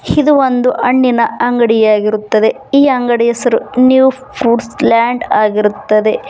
ಇದು ಒಂದು ಹಣ್ಣಿನ ಅಂಗಡಿಯಾಗಿರುತ್ತದೆ ಈ ಅಂಗಡಿಯ ಹೆಸರು ನ್ಯೂ ಫ್ರೂಟ್ಸ್ ಲ್ಯಾಂಡ್ ಆಗಿರುತ್ತದೆ.